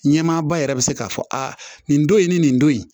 Ɲɛmaaba yɛrɛ bɛ se k'a fɔ a nin don in ni nin don in